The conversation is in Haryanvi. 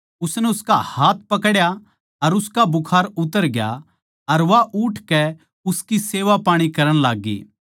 उसनै उसका हाथ पकड्या अर उसका बुखार उतर ग्या अर वा उठकै उसकी सेवापाणी करण लाग्गी